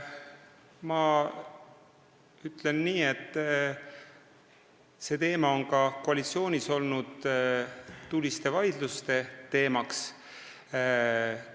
Ma ütlen nii, et see on ka koalitsioonis tuliste vaidluste teemaks olnud.